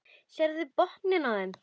Sérðu botninn á þeim.